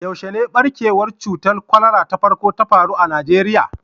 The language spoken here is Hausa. Yaushe ne ɓarkewar cutar kwalara ta farko ta faru a Najeriya?